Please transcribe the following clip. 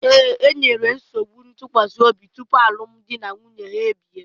Ee, e nwere nsogbu ntụkwasị obi tupu alụmdi na nwunye ahụ ebie.